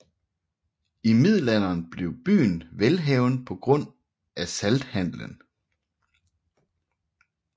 I middelalderen blev byen velhavende på grund af salthandelen